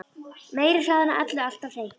Meiri hraðinn á öllu alltaf hreint.